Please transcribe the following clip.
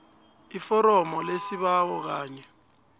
iforomo lesibawo kanye